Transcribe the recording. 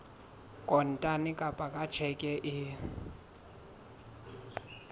kontane kapa ka tjheke e